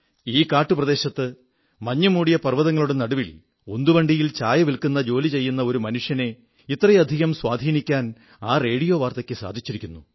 ഈ കാട്ടുപ്രദേശത്ത് മഞ്ഞുമൂടിയ പർവ്വതങ്ങളുടെ നടുവിൽ ഉന്തുവണ്ടിയിൽ ചായ വിൽക്കുന്ന ജോലി ചെയ്യുന്ന ഒരു മനുഷ്യനെ ഇത്രയധികം സ്വാധീനിക്കാൻ ആ റോഡിയോ വാർത്തയ്ക്കു സാധിച്ചിരിക്കുന്നു